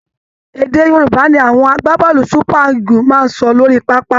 Èdè Yorùba ni àwọn agbábọ́ọ̀lù super Eagles máa ń sọ lórí pápá